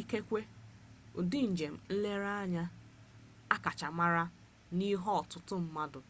ikekwe ụdị njem nlereanya akacha mara bụ ihe ọtụtụ mmadụ